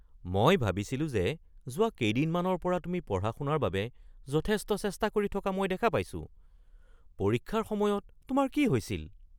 মই ভাবিছিলো যে যোৱা কেইদিনমানৰ পৰা তুমি পঢ়া-শুনাৰ বাবে যথেষ্ট চেষ্টা কৰি থকা মই দেখা পাইছোঁ। পৰীক্ষাৰ সময়ত তোমাৰ কি হৈছিল?